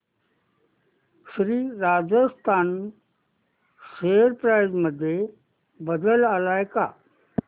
Shri Rajasthan share price मध्ये बदल आलाय का